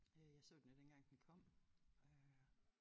Øh jeg så den jo dengang den kom øh